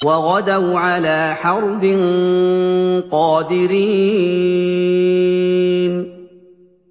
وَغَدَوْا عَلَىٰ حَرْدٍ قَادِرِينَ